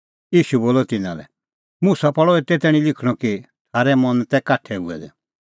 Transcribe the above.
ईशू बोलअ तिन्नां लै मुसा पल़अ एते तैणीं लिखणअ कि थारै मन तै काठै हुऐ दै